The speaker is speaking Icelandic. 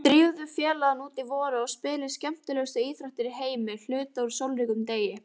Drífðu félagana út í vorið og spilið skemmtilegustu íþrótt í heimi hluta úr sólríkum degi.